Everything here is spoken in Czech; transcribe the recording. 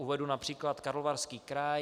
Uvedu například Karlovarský kraj.